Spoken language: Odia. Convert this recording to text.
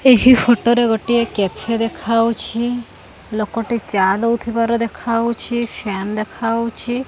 ଏହି ଫଟ ରେ ଗୋଟେ କେଫି ଦେଖାଉଛି ଲୋକ ଟି ଚା ଦେଉଥିବାର ଦେଖାଉଛି ଫ୍ୟାନ୍ ଦେଖାଉଛି।